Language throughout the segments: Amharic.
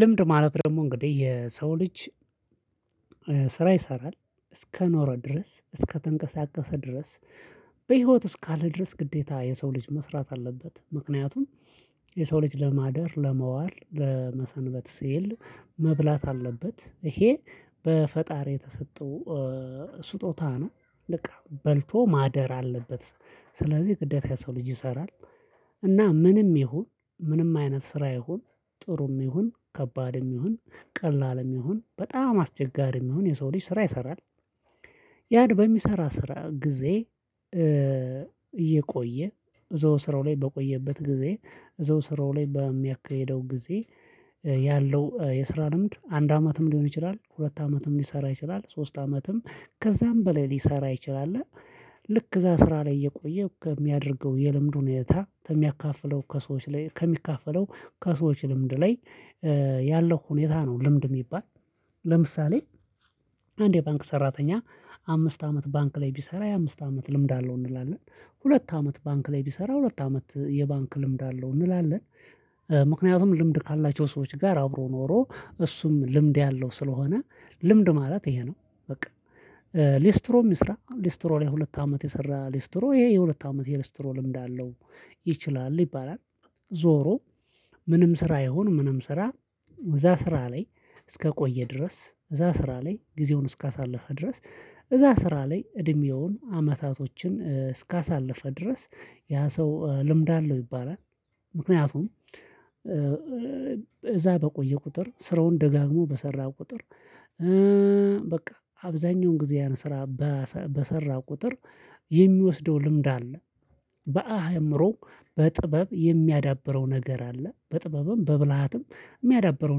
ልምድ ማለት ደግሞ እንግዲህ የሰው ልጅ ስራ ይሰራል እስከኖረ ድረስ፣ እስከተንቀሳቀሰ ድረስ፣ በህይወት እስካለ ድረስ ግዴታ የሰው ልጅ መስራት አለበት ምክንያቱም የሰው ልጅ ለማደር ለመዋል ለመሰንበት ስየል መብላት አለበት ይሄ በፈጣሪ የተሰጠው ስጦታ ነው በቃ በልቶ ማደር አለበት ስለዚህ ግዴታ ሰው ልጅ ይሰራል እና ምንም ይሁን ምንም አይነት ስራ ይሁን ጥሩም ይሁን ከባድም ይሁን ቀላልም ይሁን በጣም አስቸጋሪም ይሁን የሰው ልጅ ስራ ይሰራል። ያው በሚሰራ ስራ ጊዜ እየቆየ እዛው ስራው ላይ በቆየበት ጊዜ፣ እዛው ስራው ላይ በሚያካሂደው ጊዜ፣ ያለው የስራ ልምድ አንድ አመትም ሊሆን ይችላል፣ ሁለት አመትም ሊሰራ ይችላል፣ ሶስት አመትም ከዛም በላይ ሊሰራ ይችላል ልክ እዛ ስራ ላይ እየቆየ ከሚያደርገው የልምዱን እይታ ከሚያካፍለው ከሰዎች ላይ ከሚካፈለው ከሰዎች ልምድ ላይ ያለው ሁኔታ ነው ልምድ የሚባል ለምሳሌ አንድ የባንክ ሰራተኛ አምስት አመት ባንክ ላይ ቢሰራ የአምስት አመት ልምድ አለው እንላለን፣ ሁለት አመት ባንክ ላይ ቢሰራ ሁለት አመት የባንክ ልምድ አለው እንላለን፣ ምክንያቱም ልምድ ካላቸው ሰዎች ጋር አብሮ ኖሮ እሱም ልምድ ያለው ስለሆነ ልምድ ማለት ይሄ ነው በቃ ሌስትሮ የሚስራ ሌስትሮ ላይ ሁለት አመት የሰራ ሌስትሮ ይሄ የሁለት አመት የሌስትሮ ልምድ አለው። ይችላል ይባላል ዞሮ ምንም ስራ ይሁን ምንም ስራ እዛ ስራ ላይ እስከቆየ ድረስ፣ እዛ ስራ ላይ ጊዜውን እስከታሳለፈ ድረስ፣ እዛ ስራ ላይ እድሜውን አመታቶችን እስካሳለፈ ድረስ፣ ያ ሰው ልምድ አለው ይባላል፤ ምክንያቱም እዛ በቆየ ቁጥር ስራውን ደጋግሞ በሰራ ቁጥር በቃ አብዛኛውን ጊዜያን ስራ በሰራ ቁጥር የሚወስደው ልምድ አለ በአእምሮ በጥበብ የሚያዳብረው ነገር አለ፣ በጥበብም በብልሃትም የሚያዳብረው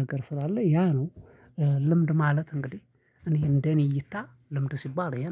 ነገር ስላለ ያ ነው ልምድ ማለት እንግዲህ እኔ እንደኔ እይታ ልምድ ሲባል ይሄ ነው።